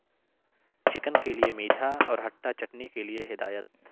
chicken کے لئے میٹھا اور ھٹا چٹنی کے لئے ہدایت